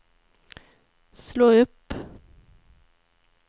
slå upp